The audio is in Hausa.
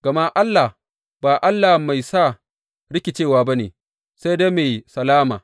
Gama Allah, ba Allah mai sa rikicewa ba ne, sai dai mai salama.